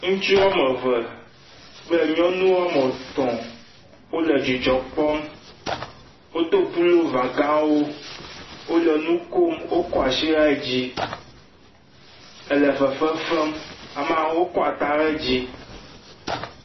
Ŋutsu woame ve kple nyɔnu woame etɔ̃, wole dzidzɔ kpɔm. Wodo pulova gãwo, wole nu kom, wokɔ asi le dzi, le fefe fem, amea ewo kɔ ata le dzi.